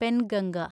Penganga